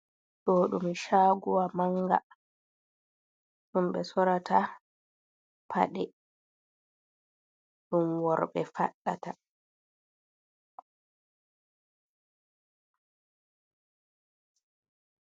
Ɗo ɗum shagowa manga. Ɗum ɓe sorata paɗe ɗum worɓe faɗɗata.